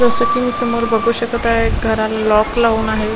असं की मी समोर बघू शकत आहे घराला लॉक लावून आहे.